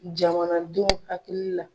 Jamana denw hakili la.